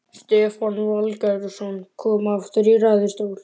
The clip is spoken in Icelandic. Stefán Valgeirsson kom aftur í ræðustól.